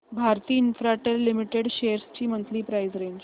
Bharti Infratel limited shares ची monthly price range